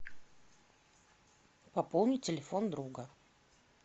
пополнить телефон друга